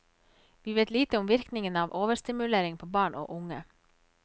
Vi vet lite om virkningen av overstimulering på barn og unge.